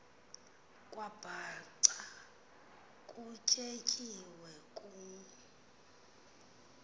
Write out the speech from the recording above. kwabhaca kutyetyiwe ku